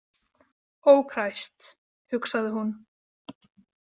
Ó kræst, hugsaði hún.